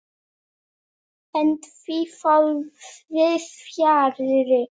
En því fór víðs fjarri.